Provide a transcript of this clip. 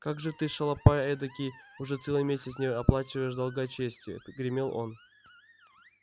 как же ты шалопай эдакий уже целый месяц не оплачиваешь долга чести гремел он